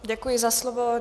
Děkuji za slovo.